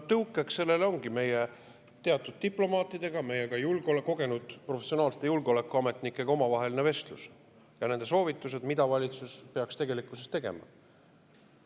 Tõukeks sellele ongi meie omavaheline vestlus teatud diplomaatidega, meie kogenud, professionaalsete julgeolekuametnikega ja nende soovitused, mida valitsus peaks tegelikkuses tegema.